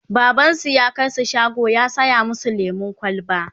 babansu ya kaisu shago ya saya masu lemun kwalba